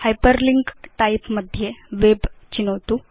hyperlink type मध्ये web चिनोतु